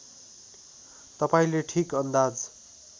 तपाईँले ठीक अन्दाज